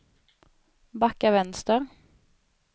backa vänster